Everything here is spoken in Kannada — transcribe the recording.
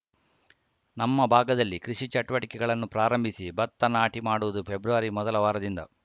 ನಮ್ಮ ಭಾಗದಲ್ಲಿ ಕೃಷಿ ಚಟುವಟಿಕೆಗಳನ್ನು ಪ್ರಾರಂಭಿಸಿ ಬತ್ತ ನಾಟಿ ಮಾಡುವುದು ಫೆಬ್ರವರಿ ಮೊದಲ ವಾರದಿಂದ